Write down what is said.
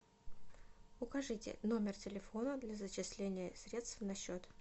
укажите номер телефона для зачисления средств на счет